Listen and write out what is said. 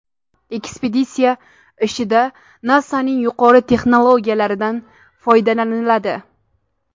Ekspeditsiya ishida NASA’ning yuqori texnologiyalaridan foydalaniladi.